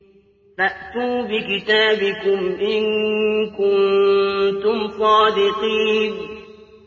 فَأْتُوا بِكِتَابِكُمْ إِن كُنتُمْ صَادِقِينَ